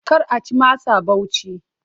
Kar a ci masa Bauchi!